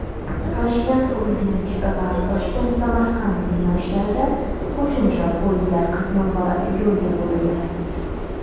ToshkentUrganch va ToshkentSamarqand yo‘nalishlarida qo‘shimcha poyezdlar qatnovi yo‘lga qo‘yildi.